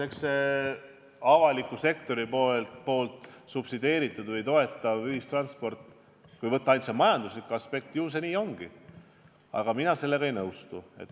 Eks see avaliku sektori subsideeritud või toetatav ühistransport, kui võtta aluseks ainult majanduslik aspekt, ju kulukas ongi, aga mina selle kriitikaga ei nõustu.